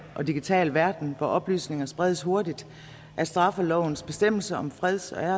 digital verden hvor oplysninger spredes hurtigt at straffelovens bestemmelser om freds og